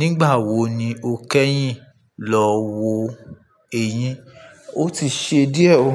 Nígbà wo ni o kẹ́yìn lọ wo eyín? Ó ti ṣe díẹ̀ ó,